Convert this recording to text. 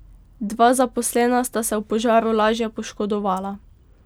Dva zaposlena sta se v požaru lažje poškodovala.